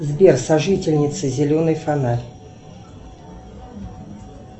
сбер сожительница зеленый фонарь